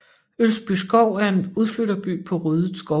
Ølsbyskov er en udflytterby på ryddet skovgrund